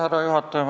Härra juhataja!